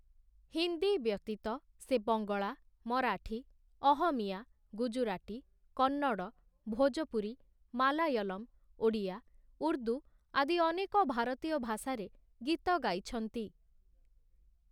ହିନ୍ଦୀ ବ୍ୟତୀତ ସେ ବଙ୍ଗଳା, ମରାଠୀ, ଅହମିୟା, ଗୁଜୁରାଟୀ, କନ୍ନଡ଼, ଭୋଜପୁରୀ, ମାଲାୟଲମ, ଓଡ଼ିଆ, ଉର୍ଦ୍ଦୁ ଆଦି ଅନେକ ଭାରତୀୟ ଭାଷାରେ ଗୀତ ଗାଇଛନ୍ତି ।